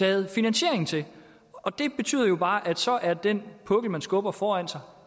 havde finansiering til og det betyder jo bare at så er den pukkel man skubber foran sig